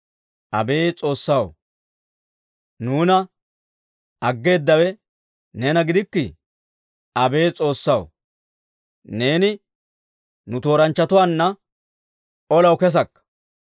Abeet S'oossaw, nuuna aggeedawe neena gidikkii? Abeet S'oossaw, neeni nu tooranchchatuwaanna olaw kesakka.